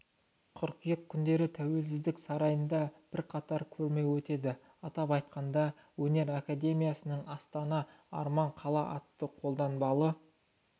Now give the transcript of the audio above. қыркүйек күндері тәуелсіздік сарайында бірқатар көрме өтеді атап айтқанда өнер академиясының астана арман қала атты қолданбалы